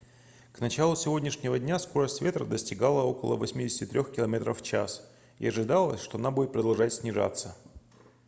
к началу сегодняшнего дня скорость ветра достигала около 83 км/ч и ожидалось что она будет продолжать снижаться